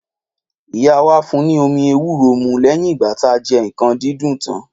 Ìyá wà fun ni omi èwúrò mù lẹyin igba tà jẹ ikan didun tan